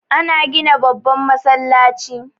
Ana gina babban masallaci